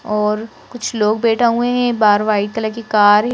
और कुछ लोग बैठा हुए हैं बार वाइट कलर की कार --